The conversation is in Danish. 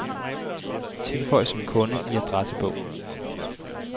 Tilføj som kunde i adressebog.